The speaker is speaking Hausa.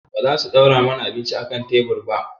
Ba za su ɗora mana abinci a kan tebur ba?